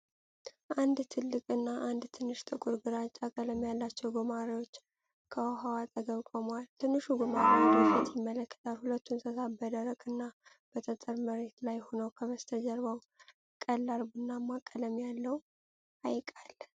አንድ ትልቅ እና አንድ ትንሽ ጥቁር ግራጫ ቀለም ያላቸው ጉማሬዎች ከውኃው አጠገብ ቆመዋል። ትንሹ ጉማሬ ወደ ፊት ይመለከታል። ሁለቱ እንስሳት በደረቅ እና በጠጠር መሬት ላይ ሁነው ከበስተጀርባው ቀላል ቡናማ ቀለም ያለው ሐይቅ አለ።